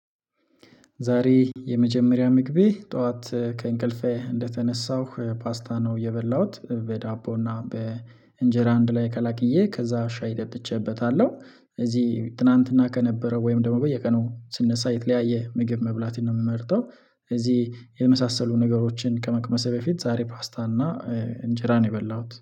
ዛሬ የመጀመሪያ ምግቤ ጠዋት ከእንቅልፌ እንደተነሳሁ ፓስታ ነው የበላሁት በዳቦ እና በእንጀራ አንድ ላይ ቀላቅየ ከዛ ሻይ ጠጥቸበታለሁ። እዚህ ትናንትና ከነበረ ወይም ደግሞ በየቀኑ ስነሳ የተለያየ ምግብ መብላት ነው የምመርጠው። እዚህ የመሳሰሉ ነገሮችን ከመቅመሴ በፊት ዛሬ ፓስታና። እንጀራ ነው የበላሁት